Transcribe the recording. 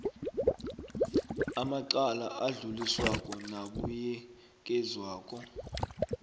amacala adluliswako nabuyekezwako